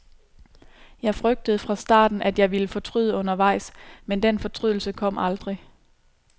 Jeg frygtede fra starten, at jeg ville fortryder undervejs, men den fortrydelse kom aldrig.